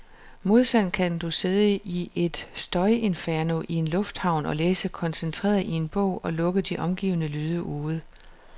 Modsat kan du sidde i et støjinferno i en lufthavn og læse koncentreret i en bog, og lukke de omgivende lyde ude.